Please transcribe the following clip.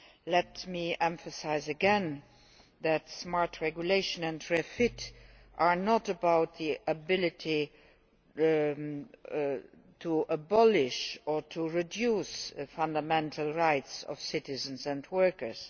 Let me emphasise again that smart regulation and REFIT are not about the ability to abolish or reduce the fundamental rights of citizens and workers.